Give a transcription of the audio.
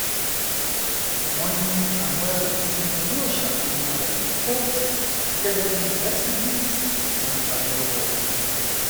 wọ́n ní àwọn ẹrú yìí ni wọn yóò ṣàfihàn rẹ̀ ní kóòtù gẹ́gẹ́ bíi ẹ̀síbẹ́ìtì tí wọ́n bá lọ́wọ́ wọn